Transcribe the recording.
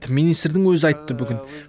министрдің өзі айтты бүгін